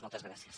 moltes gràcies